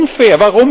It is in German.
Das ist unfair.